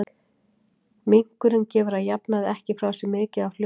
Minkurinn gefur að jafnaði ekki frá sér mikið af hljóðum.